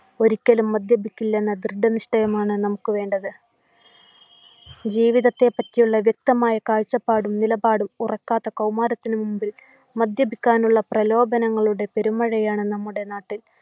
ഒരിക്കലേ മദ്യപിക്കില്ലെന്ന ദൃഢനിഷ്ടയമാണ് നമുക്ക് വേണ്ടത്ജീവിതത്തെപ്പറ്റിയുള്ള വ്യക്തമായ കാഴ്ചപ്പാടും നിലപാടും ഉറക്കാത്ത കൗമാരത്തിനു മുൻപിൽ മദ്യപിക്കാനുള്ള പ്രലോഭനങ്ങളുടെ പെരുമഴയാണ് നമ്മുടെ നാട്ടിൽ